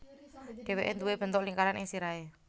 Dhèwèké nduwé bentuk lingkaran ing sirahé